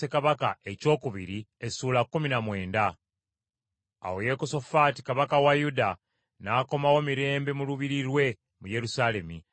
Awo Yekosafaati kabaka wa Yuda n’akomawo mirembe mu lubiri lwe mu Yerusaalemi.